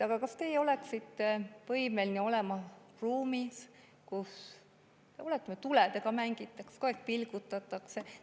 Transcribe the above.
Aga kas teie oleksite võimeline olema ruumis, kus tuledega mängitakse, kogu aeg neid vilgutatakse?